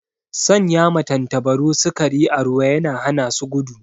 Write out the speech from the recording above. Sanya ma tantabaru sikari a ruwa yana hana su gudu